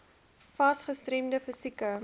fas gestremde fisieke